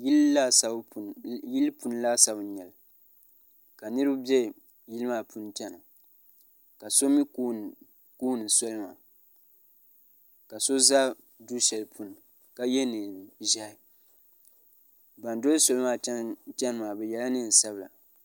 Yili puuni laasabu n nyɛli ka niriba be yili maa puuni chena ka so mee kooni soli ŋɔ ka so za du'sheli puuni ka ye niɛn'ʒehi nan doli soli maa cheni maa bɛ yela niɛn'sabila.